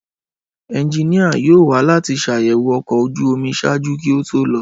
Ẹnjinia yoo wa lati ṣayẹwo ọkọ̀ ojú omi ṣaaju ki o to lọ.